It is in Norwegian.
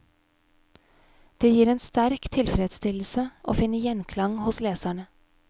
Det gir en sterk tilfredsstillelse å finne gjenklang hos leserne.